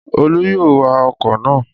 Olú yóò wa ọkọ̀ náà